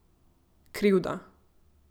Krivda ...